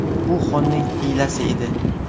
Bu xonning hiylasi edi.